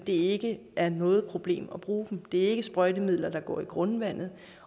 ikke er noget problem at bruge dem det er ikke sprøjtemidler der går i grundvandet